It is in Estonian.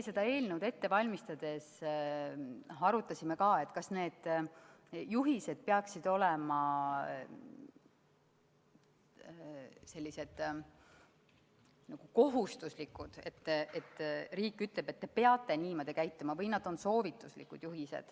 Seda eelnõu ette valmistades me arutasime ka, kas need juhised peaksid olema nagu kohustuslikud, et riik ütleb, et te peate niimoodi käituma, või nad on soovituslikud.